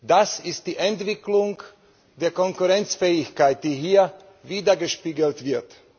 Das ist die Entwicklung der Konkurrenzfähigkeit, die hier widergespiegelt wird.